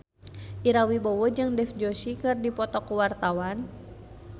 Ira Wibowo jeung Dev Joshi keur dipoto ku wartawan